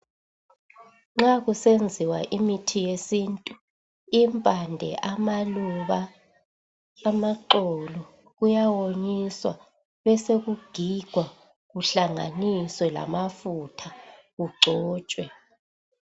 Nxa kusenziwa imithi yesintu, impande amaluba amaxolo kuyawonyiswa besekugigwa kuhlanganiswe lamafutha kugcotshwe.